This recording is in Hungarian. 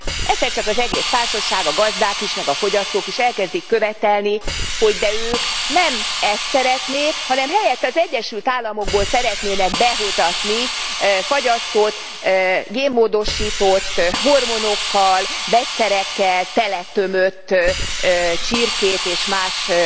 Egyszer csak az egész társaság, a gazdák is, meg a fogyasztók is elkezdik követelni, hogy de ők nem ezt szeretnék, hanem helyette az Egyesült Államokból szeretnének behozatni fagyasztott, génmódosított, hormonokkal, vegyszerekkel teletömött csirkét és más